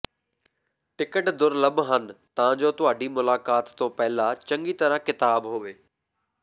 ticket ਦੁਰਲੱਭ ਹਨ ਤਾਂ ਜੋ ਤੁਹਾਡੀ ਮੁਲਾਕਾਤ ਤੋਂ ਪਹਿਲਾਂ ਚੰਗੀ ਤਰ੍ਹਾਂ ਕਿਤਾਬ ਹੋਵੇ